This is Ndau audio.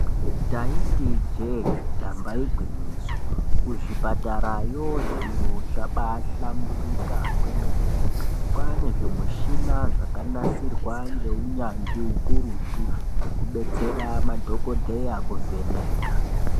Taiti ijee damba igwinyiso. Kuzvipatarayo zviro zvabahlamburika kwemene. Kwane zvimushina zvakanasirwa ngeunyanzvi ukurutu zvekubetsera madhokodheya kuvheneka.